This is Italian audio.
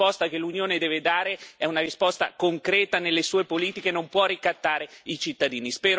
La risposta che l'Unione deve dare è una risposta concreta nelle sue politiche, non può ricattare i cittadini.